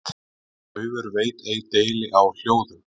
Daufur veit ei deili á hljóðum.